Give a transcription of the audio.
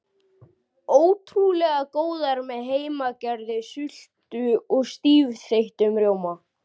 Ótrúlega góðar með heimagerðri sultu og stífþeyttum rjóma.